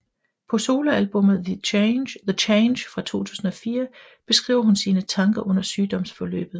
På soloalbummet The Change fra 2004 beskriver hun sine tanker under sygdomsforløbet